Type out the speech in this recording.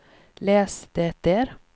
läs det där